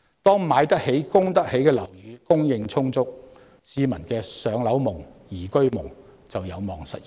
當"買得起、供得起"的樓宇供應充足，市民的"上樓夢"、"宜居夢"便有望實現。